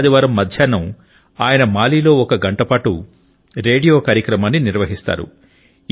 ప్రతి ఆదివారం మధ్యాహ్నం ఆయన మాలిలో ఒక గంటపాటు రేడియో కార్యక్రమాన్ని నిర్వహిస్తారు